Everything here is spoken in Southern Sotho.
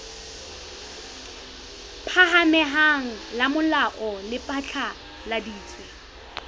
phahameng la molao le phatlaladitse